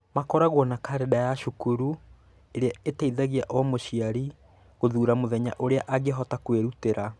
Makoragwo na kalendarĩ ya cukuru ĩrĩa ĩteithagia o mũciari gũthuura mũthenya ũrĩa angĩhota kwĩrutĩra.